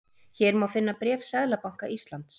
Hér má finna bréf Seðlabanka Íslands